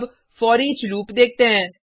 अब foreach loop देखते हैं